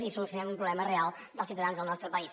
i solucionem un problema real dels ciutadans del nostre país